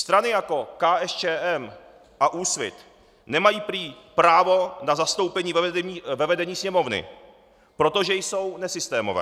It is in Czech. Strany jako KSČM a Úsvit nemají prý právo na zastoupení ve vedení Sněmovny, protože jsou nesystémové.